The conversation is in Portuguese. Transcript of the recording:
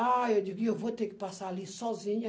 Ah, eu digo, eu vou ter que passar ali sozinho.